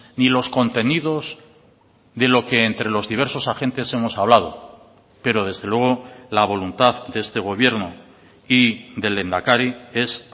ni los contenidos de lo que entre los diversos agentes hemos hablado pero desde luego la voluntad de este gobierno y del lehendakari es